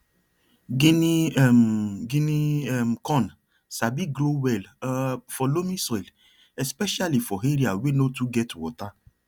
guinea um guinea um corn sabi grow well um for loamy soil especially for area wey no too get water